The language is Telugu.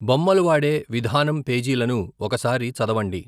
బొమ్మలు వాడే విధానం పేజీలను ఒక సారి చదవండి.